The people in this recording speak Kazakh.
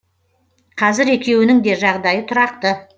қазір екеуінің де жағдайы тұрақты